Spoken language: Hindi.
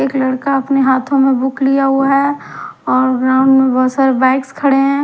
एक लड़का अपने हाथो में बुक लिया हुआ है और न बोहोत सारे बाइक खड़े है।